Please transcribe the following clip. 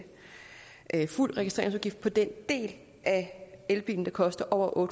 fuld registreringsafgift på den del af elbilen der koster over